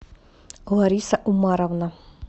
лариса умаровна